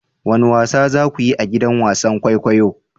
Wane wasa za ku yi a gidan wasan kwaikwayo?